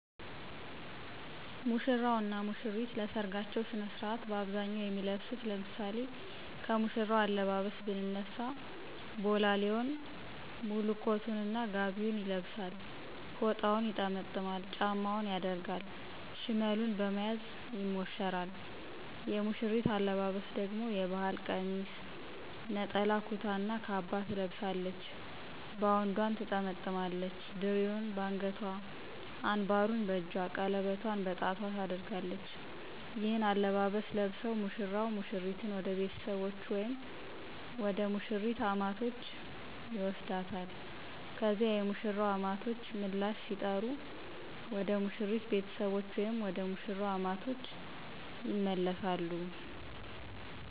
ሙሽራው እና ሙሽሪት ለሰርጋቸው ስነ ስርዓት በአብዛኛው የሚለብሱት ለምሳሌ ከሙሽራው አለባበስ ብንነሳ ቦላሌውን፣ ሙሉ ኮቱን እና ጋቢውን ይለብሳል፤ ፎጣውን ይጠመጥማል፤ ጫማውን ያደርጋል፤ ሽመሉን በመያዝ ይሞሸራል። የሙሽሪት አለባበስ ደግሞ የባህል ቀሚስ፣ ነጠላ ኩታ እና ካባ ትለብሳለች፤ ባውንዷን ትጠመጥማለች፣ ድሪውን በአንገቷ፣ አንባሩን በእጇ፣ ቀለበቷን በጣቷ ታደርጋለች። ይህንን አለባበስ ለብሰው ሙሽራው ሙሽሪትን ወደ ቤተሰቦቹ ወይም ወደ ሙሽሪት አማቶች ይወስዳታል። ከዚያ የሙሽራው አማቶች ምላሽ ሲጠሩ ወደ ሙሽሪት ቤተሰቦች ወይም ወደ መሽራው አማቶች ይመለሳሉ።